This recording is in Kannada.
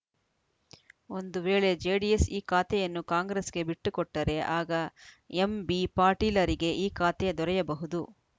ಒಂದು ವೇಳೆ ಜೆಡಿಎಸ್‌ ಈ ಖಾತೆಯನ್ನು ಕಾಂಗ್ರೆಸ್‌ಗೆ ಬಿಟ್ಟುಕೊಟ್ಟರೆ ಆಗ ಎಂಬಿ ಪಾಟೀಲರಿಗೆ ಈ ಖಾತೆ ದೊರೆಯಬಹುದು